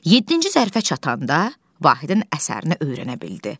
Yeddinci zərfə çatanda Vahidin əsərini öyrənə bildi.